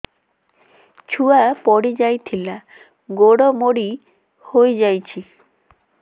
ଛୁଆ ପଡିଯାଇଥିଲା ଗୋଡ ମୋଡ଼ି ହୋଇଯାଇଛି